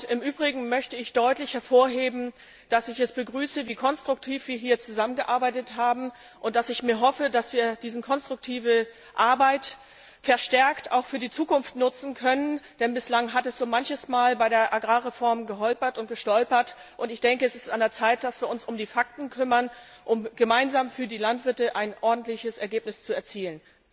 Im Übrigen möchte ich deutlich hervorheben, dass ich es begrüße, wie konstruktiv wir hier zusammengearbeitet haben, und dass ich hoffe, dass wir diese konstruktive Arbeit verstärkt auch für die Zukunft nutzen können. Denn bislang hat es so manches Mal bei der Agrarreform geholpert und gestolpert. Ich denke, es ist an der Zeit, dass wir uns um die Fakten kümmern, um gemeinsam für die Landwirte ein ordentliches Ergebnis zu erzielen.